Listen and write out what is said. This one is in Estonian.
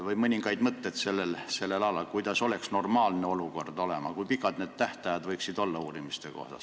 Sooviks mõningaid mõtteid selle kohta, kuidas oleks normaalne olukord, kui pikad need tähtajad võiksid uurimise korral olla.